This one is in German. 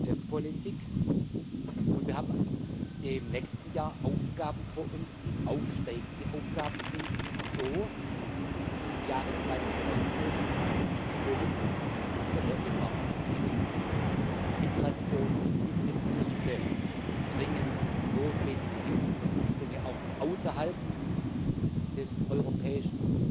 der Agrarpolitik. Und wir haben im nächsten Jahr Aufgaben vor uns, die aufsteigende Aufgaben sind, die so im Jahre 2013 nicht völlig vorhersehbar gewesen sind Migration, die Flüchtlingskrise, dringend notwendige Hilfen für Flüchtlinge, auch außerhalb des europäischen